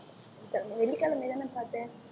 வெள்ளிக்கிழமைதானே பார்த்தேன்